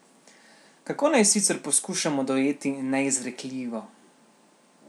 Kako naj sicer poskušamo dojeti neizrekljivo?